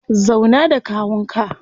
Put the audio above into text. Zauna da kawun ka.